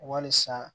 Walisa